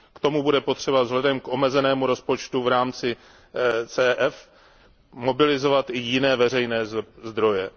K tomu bude potřeba vzhledem k omezenému rozpočtu v rámci CEF mobilizovat i jiné veřejné zdroje.